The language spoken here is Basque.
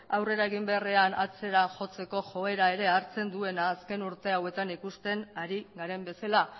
aurrera egin beharrean atzera jotzeko joera ere hartzen duena azken urteetan ikusten ari garen bezala